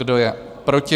Kdo je proti?